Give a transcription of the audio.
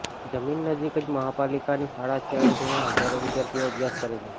જમીન નજીક જ મહાપાલિકાની શાળા છે અને તેમાં હજારો વિદ્યાર્થીઓ અભ્યાસ કરે છે